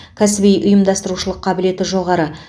кәсіби ұйымдастырушылық қабілеті жоғары